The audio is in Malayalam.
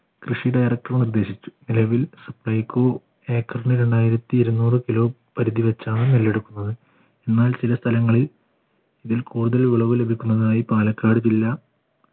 കൃഷി director നിർദ്ദേശിച്ചു നിലവിൽ supplyco ഏക്കർന് രണ്ടായിരത്തി ഇരുന്നൂറ് kilo പരിധി വച്ചാണ് നെല്ല് എടുക്കുന്നത് എന്നാൽ ചില സ്ഥലങ്ങളിൽ ഇതിൽ കൂടുതൽ വിളവ് ലഭിക്കുന്നതായി പാലക്കാട് ജില്ല